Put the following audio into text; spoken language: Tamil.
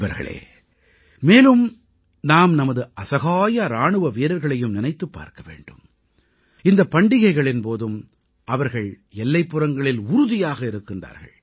நண்பர்களே மேலும் நாம் நமது அசகாய இராணுவ வீரர்களையும் நினைத்துப் பார்க்க வேண்டும் இந்தப் பண்டிகைகளின் போதும் அவர்கள் எல்லைப்புறங்களில் உறுதியாக இருக்கின்றார்கள்